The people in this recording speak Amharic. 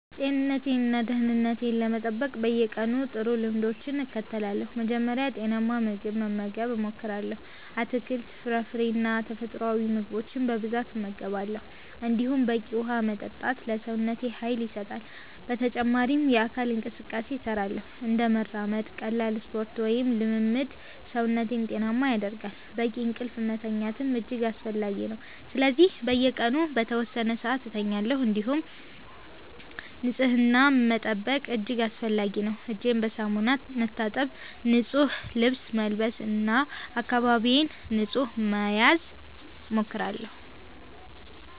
ጤንነቴን እና ደህንነቴን ለመጠበቅ በየቀኑ ጥሩ ልምዶችን እከተላለሁ። መጀመሪያ ጤናማ ምግብ መመገብ እሞክራለሁ፤ አትክልት፣ ፍራፍሬ እና ተፈጥሯዊ ምግቦች በብዛት እመገባለሁ። እንዲሁም በቂ ውሃ መጠጣት ለሰውነቴ ኃይል ይሰጣል። በተጨማሪም የአካል እንቅስቃሴ እሰራለሁ፤ እንደ መራመድ፣ ቀላል ስፖርት ወይም ልምምድ ሰውነቴን ጤናማ ያደርጋል። በቂ እንቅልፍ መተኛትም እጅግ አስፈላጊ ነው፤ ስለዚህ በየቀኑ በተወሰነ ሰዓት እተኛለሁ። እንዲሁም ንጽህና መጠበቅ እጅግ አስፈላጊ ነው፤ እጄን በሳሙና መታጠብ፣ ንጹህ ልብስ መልበስ እና አካባቢዬን ንጹህ መያዝ እሞክራለሁ።